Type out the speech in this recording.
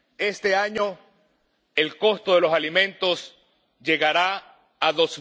este año el costo de los alimentos llegará al